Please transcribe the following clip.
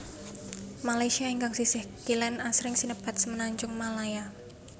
Malaysia ingkang sisih kilen asring sinebat Semenajung Malaya